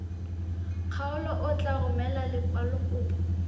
kgaolo o tla romela lekwalokopo